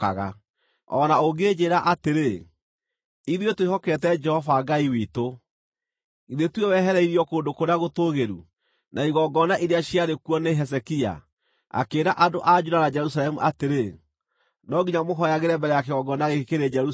O na ũngĩnjĩĩra atĩrĩ, “Ithuĩ twĩhokete Jehova Ngai witũ”, githĩ tiwe wehereirio kũndũ kũrĩa gũtũũgĩru, na igongona iria ciarĩ kuo nĩ Hezekia, akĩĩra andũ a Juda na Jerusalemu atĩrĩ, “No nginya mũhooyagĩre mbere ya kĩgongona gĩkĩ kĩrĩ Jerusalemu?”